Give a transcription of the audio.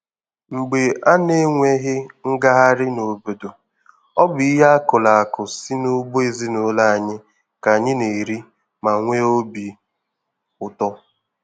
Mgbe a na-enweghi ngagharị n'obodo, ọ bụ ihe akụrụ akụ si n'ugbo ezinụlọ anyị ka anyị na-eri ma nwee obi ụtọ.